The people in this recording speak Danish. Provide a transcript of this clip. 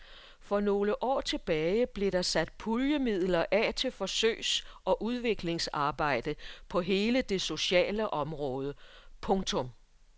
For nogle år tilbage blev der sat puljemidler af til forsøgs og udviklingsarbejde på hele det sociale område. punktum